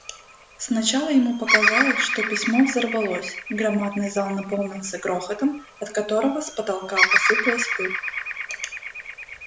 сначала ему показалось что письмо взорвалось громадный зал наполнился грохотом от которого с потолка посыпалась пыль